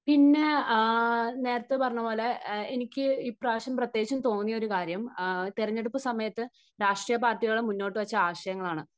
പിന്നെ ആ നേരത്തെ പറഞ്ഞതുപോലെ എനിക്ക് ഇപ്രാവശ്യം പ്രത്യേകിച്ചും തോന്നിയ ഒരു കാര്യം തെരഞ്ഞെടുപ്പ് സമയത്ത് രാഷ്ട്രീയ പാർട്ടികൾ മുന്നോട്ടു വെച്ച ആശയങ്ങൾ ആണ്.